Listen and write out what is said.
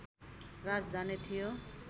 राजधानी थियो